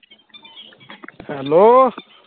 hello